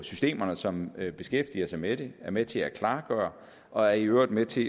systemerne som beskæftiger sig med det under er med til at klargøre og er i øvrigt med til